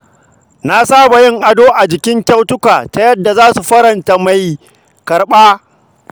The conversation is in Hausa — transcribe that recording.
Na saba yin ado a jikin kyautuka ta yadda za su faranta ran mai karɓa.